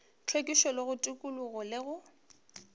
hlwekišo go tikologo le go